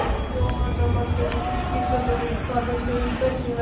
Jóhanna Margrét Gísladóttir: Hvað finnst þér um bensínverðið?